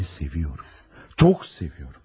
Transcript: Səni sevirəm, çox sevirəm.